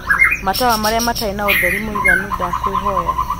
matawa marīa matarī na utheri mūiganu ndakwīhoya